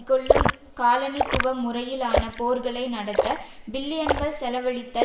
கொள்ளும் காலனித்துவ முறையிலான போர்களை நடத்த பில்லியன்கள் செலவழித்தல்